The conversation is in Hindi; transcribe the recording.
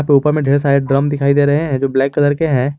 ऊपर में ढेर सारे ड्रम दिखाई दे रहे हैं जो ब्लैक कलर के हैं।